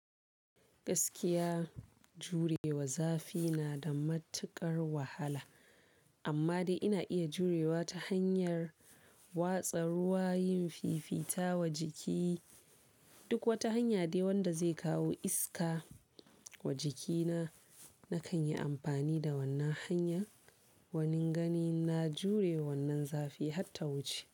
Gaskiya jurewa zafi na da matuƙar wahala, amma dai ina iya jurewa ta hanyar watsa ruwa, yin fifita wa jiki, duk wata hanya dai wanda zai kawo iska wa jikina nakan yi amfani da wannan hanya. Wanin ganin na jure wannan zafi har ta wuce.